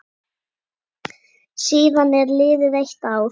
Síðan er liðið eitt ár.